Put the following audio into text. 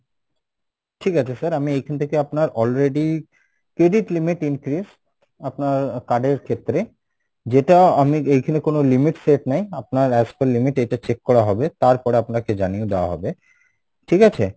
ঠিক আছে sir আমি এখান থেকে আপনার already credit limit increase আপনার card এর ক্ষেত্রে যেটা আমি এখানে কোনো limits set নেই আপনার as per limit এটা check করা হবে তারপর আপনাকে জানিয়ে দেওয়া হবে, ঠিক আছে?